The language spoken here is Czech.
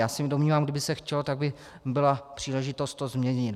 Já se domnívám, kdyby se chtělo, tak by byla příležitost to změnit.